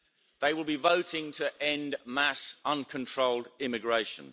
They will be voting to end mass uncontrolled immigration.